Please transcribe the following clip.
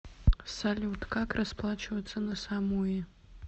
салют как расплачиваться на самуи